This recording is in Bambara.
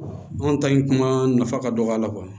Anw ta in kuma nafa ka dɔgɔ a la